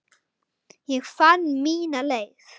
Ég fann mína leið.